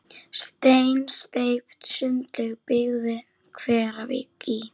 Steinsteypt sundlaug byggð við Hveravík í